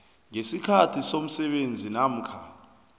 ngesikhathi somsebenzi namkha